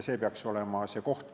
See peaks olema see koht.